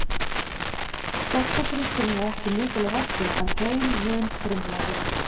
Doktorsritgerðin er ekki mikil að vöxtum en þeim mun frumlegri.